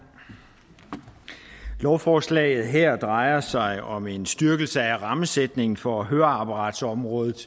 lovforslaget her drejer sig om en styrkelse af rammesætningen for høreapparatsområdet